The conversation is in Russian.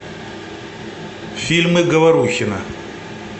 фильмы говорухина